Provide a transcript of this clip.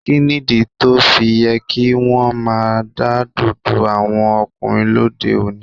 Kí nìdí tó fi yẹ kí wọ́n máa dádọ̀dọ́ àwọn ọkùnrin lóde òní?